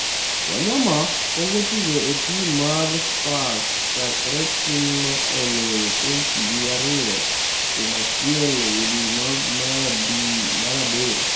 Wanyama pok otugo e tim mar Spurs chakre timno oloyo Chelsea gi ariyo kuom achiel e dwe mar aboro.